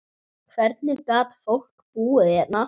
Hvernig gat fólk búið hérna?